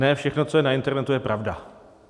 Ne všechno, co je na internetu, je pravda.